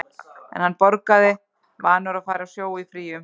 En hann borgaði, vanur að fara á sjó í fríum.